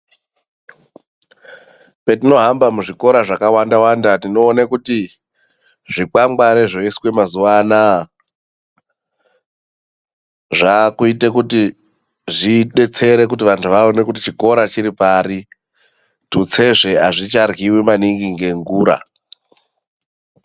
Petinohamba muzvikora zvakawanda wanda tinoone kuti zvikwangwari zvoiswa mazuwa anaa zvaakuita kuti zvidetsere kuti vanhu vaone kuti chikora chiri pari. Tutsezve hazvicharyiwi maningi ngengura.